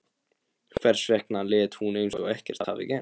Hvers vegna lét hún eins og ekkert hefði gerst?